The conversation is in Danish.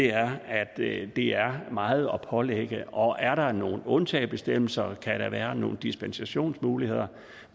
er at det er meget at pålægge og er der nogle undtagelsesbestemmelser kan der være nogle dispensationsmuligheder